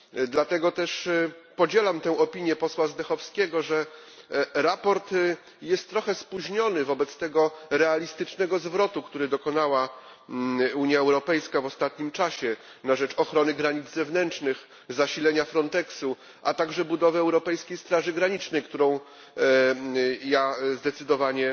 Dlatego też podzielam opinię posła Zdechovskýego, że sprawozdanie jest trochę spóźnione wobec tego realistycznego zwrotu, jakiego dokonała Unia Europejska w ostatnim czasie na rzecz ochrony granic zewnętrznych, zasilenia Fronteksu, a także budowy europejskiej straży granicznej, którą ja zdecydowanie